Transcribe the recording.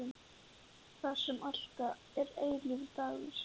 Þar sem alltaf er eilífur dagur.